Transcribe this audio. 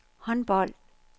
håndbold